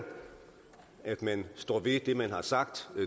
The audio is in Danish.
at man står ved det man har sagt